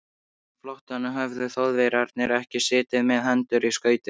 Á flóttanum höfðu Þjóðverjarnir ekki setið með hendur í skauti.